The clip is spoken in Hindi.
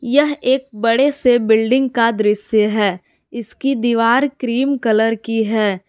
यह एक बड़े से बिल्डिंग का दृश्य है इसकी दीवार क्रीम कलर की है।